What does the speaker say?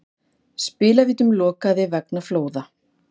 Spilavítum lokað vegna flóða